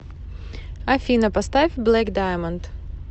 афина поставь блэк даймонд